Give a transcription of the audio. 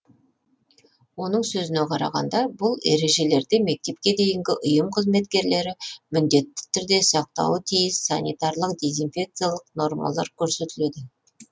оның сөзіне қарағанда бұл ережелерде мектепке дейінгі ұйым қызметкерлері міндетті түрде сақтауы тиіс санитарлық дезинфекциялық нормалар көрсетіледі